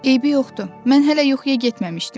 Eybi yoxdur, mən hələ yuxuya getməmişdim.